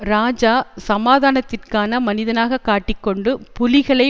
இராஜா சமாதானத்திற்கான மனிதனாக காட்டி கொண்டு புலிகளை